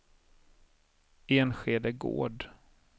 Enskede Gård